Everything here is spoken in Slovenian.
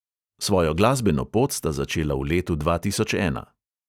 Svojo glasbeno pot sta začela v letu dva tisoč ena.